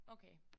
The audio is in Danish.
Okay